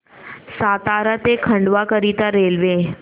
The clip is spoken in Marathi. सातारा ते खंडवा करीता रेल्वे